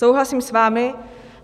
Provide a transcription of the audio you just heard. Souhlasím s vámi.